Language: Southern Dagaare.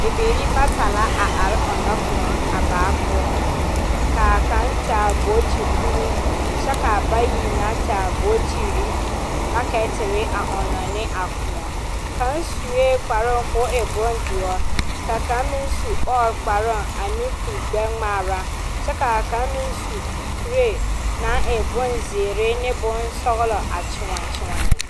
Bibiire bata la a are ɔŋnɔ kʋɔ baa pʋɔ. Ka kaŋa taa bootu kuruu kyɛ ka bayi taa ɔrɔba booture. A bie kaŋa su la kparoo ka o waa boŋdɔre kyɛ ka kaŋa meŋ su ɔɔrekparoo kyɛ seɛ kpuregbɛgmaa. Kaŋ meŋ seɛ la kpuree ka o taa ziire ane peɛle